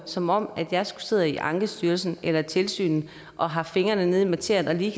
som om jeg skulle sidde i ankestyrelsen eller i tilsynet og have haft fingrene ned i materien og lige